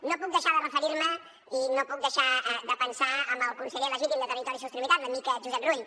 no puc deixar de referir me i no puc deixar de pensar en el conseller legítim de territori i sostenibilitat l’amic josep rull